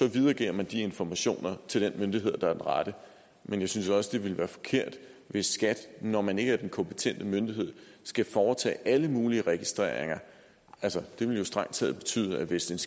videregiver man de informationer til den myndighed der er den rette men jeg synes også det ville være forkert hvis skat når man ikke er den kompetente myndighed skal foretage alle mulige registreringer altså det ville jo strengt taget betyde at hvis